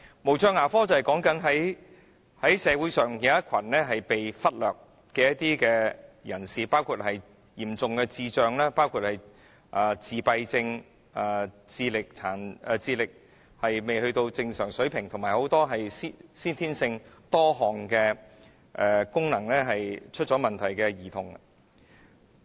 無障牙科是關乎社會上一群被忽略的人，包括有嚴重智障、自閉症、智力未達正常水平，以及很多先天性多項功能出現問題的兒童。